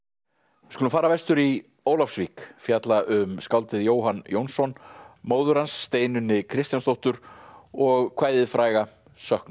við skulum fara vestur í Ólafsvík fjalla um skáldið Jóhann Jónsson móður hans Steinunni Kristjánsdóttur og kvæðið fræga söknuð